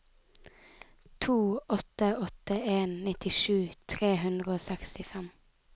to åtte åtte en nittisju tre hundre og sekstifem